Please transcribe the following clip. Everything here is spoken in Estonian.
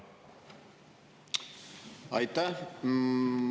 Aitäh!